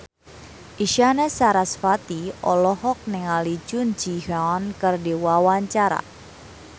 Isyana Sarasvati olohok ningali Jun Ji Hyun keur diwawancara